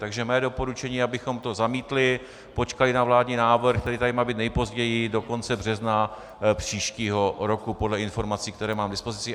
Takže mé doporučení je, abychom to zamítli, počkali na vládní návrh, který tady má být nejpozději do konce března příštího roku podle informací, které mám i dispozici.